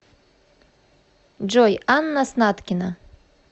джой анна снаткина